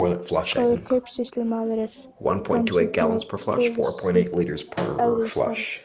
Góður kaupsýslumaður er framsýnn og víðsýnn að eðlisfari.